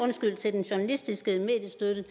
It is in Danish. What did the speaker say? den journalistiske mediestøtte